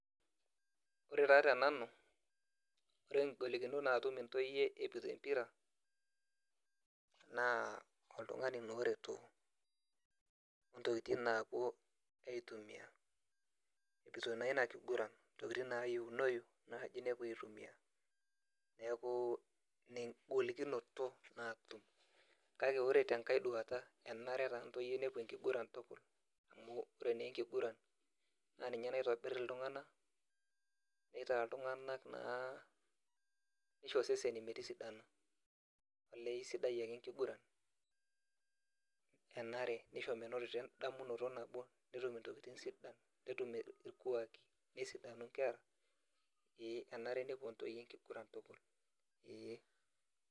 Ore taa tenanu, ore ngolikinot natum ntoyie epoito empira naa oltungani naa oretu ontokitin napuo aitumia ntokitin nayieunoi naji nepuo aitumia, neaku inaengolikino natum, ore tenkaeduata enare taa ntoyie nepuo enkiguran na ninye naitobir ltunganak neishi seseni metisidana olee aisidai ake enkiguran ,enare nisho meinoto endamunoto nabo netum ntokitin sidan, netum irkuaki ee enare nepuo nkera enkiguran eeh.